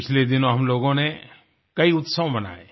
पिछले दिनों हम लोगों ने कई उत्सव मनाये